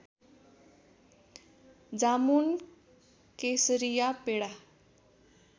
जामुन केसरिया पेडा